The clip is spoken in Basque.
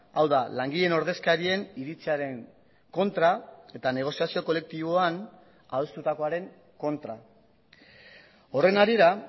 hau da langileen ordezkarien iritziaren kontra eta negoziazio kolektiboan adostutakoaren kontra horren harira